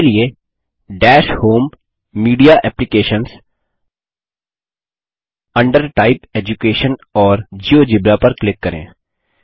इसके लिए dash home media applications under type education और जियोजेब्रा पर क्लिक करें